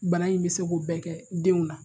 Bana in bɛ se k'uobɛɛ kɛ denw na